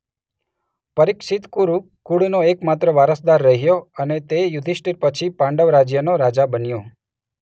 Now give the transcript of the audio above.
પરિક્ષિત કુરુ કુળનો એક માત્ર વારસદાર રહ્યો અને તે યુધિષ્ઠીર પછી પાંડવ રાજ્યનો રાજા બન્યો.